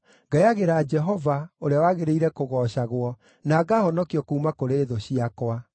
Ngayagĩra Jehova, ũrĩa wagĩrĩire kũgoocagwo, na ngahonokio kuuma kũrĩ thũ ciakwa.